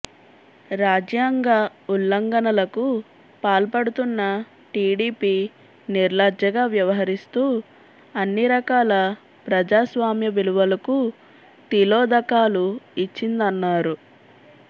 రాజ్యాంగ ఉల్లంఘనలకు పాల్పడుతున్న టిడిపి నిర్లజ్జగా వ్యవహరిస్తూ అన్ని రకాల ప్రజాస్వామ్య విలువలకు తిలోదకాలు ఇచ్చిందన్నారు